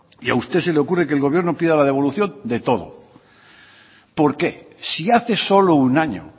y a usted se le ocurre que el gobierno pida la devolución de todo por qué si hace solo un año